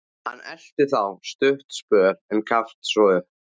Hann elti þá stuttan spöl, en gafst svo upp.